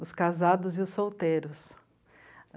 Os casados e os solteiros.